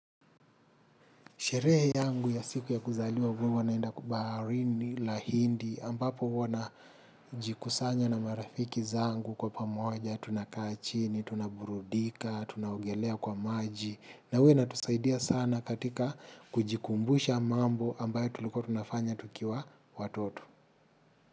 Sherehe yangu ya siku ya kuzaliwa huwa naenda baharini la hindi ambapo huwa na jikusanya na marafiki zangu kwa pamoja. Tunakaa chini, tunaburudika, tunaogelea kwa maji. Na huwa inatusaidia sana katika kujikumbusha mambo ambayo tulikuwa tunafanya tukiwa watoto.